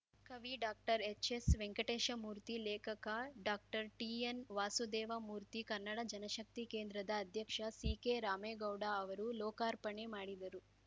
ಕವಿ ಡಾಕ್ಟರ್ಎಚ್ಎಸ್ವೆಂಕಟೇಶಮೂರ್ತಿ ಲೇಖಕ ಡಾಕ್ಟರ್ ಟಿಎನ್ವಾಸುದೇವಮೂರ್ತಿ ಕನ್ನಡ ಜನಶಕ್ತಿ ಕೇಂದ್ರದ ಅಧ್ಯಕ್ಷ ಸಿಕೆರಾಮೇಗೌಡ ಅವರು ಲೋಕಾರ್ಪಣೆ ಮಾಡಿದರು